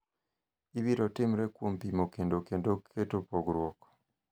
ibiro timre kuom pimo kendo keto pogruok